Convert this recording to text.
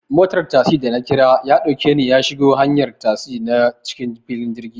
Motar tasi da nakira yaɗauke ni yashigo hanyar tasi na cikin filin jirgi